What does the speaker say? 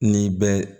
Ni bɛ